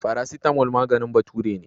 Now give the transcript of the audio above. Farasitamol maganin bature ne.